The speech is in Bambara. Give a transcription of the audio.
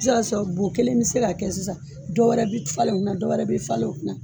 I bɛ se ka sɔrɔ bɔ kelen bɛ se ka kɛ sisan dɔ wɛrɛ bi falen o kunna dɔw wɛrɛ bɛ falen o kunna